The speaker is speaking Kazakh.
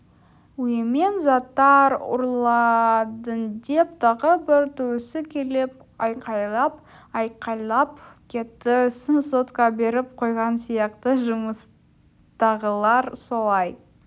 үйімнен заттар ұрладыңдеп тағы бір туысы келіп айқайлап-айқайлап кетті ісін сотқа беріп қойған сияқты жұмыстағылар солай